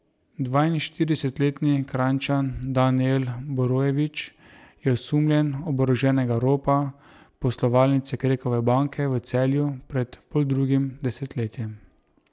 Dvainštiridesetletni Kranjčan Danijel Borojević je osumljen oboroženega ropa poslovalnice Krekove banke v Celju pred poldrugim desetletjem.